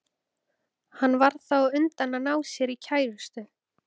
Hann varð þá á undan að ná sér í kærustu.